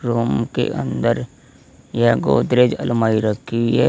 Room के अंदर यह गोदरेज अलमारी रखी है।